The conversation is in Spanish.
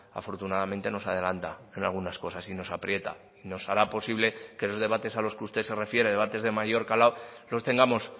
afortunadamente nos adelanta en algunas cosas y nos aprieta y nos hará posible que esos debates a los que usted se refiere debates de mayor calado los tengamos